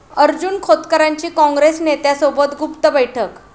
अर्जुन खोतकरांची काँग्रेस नेत्यासोबत गुप्त बैठक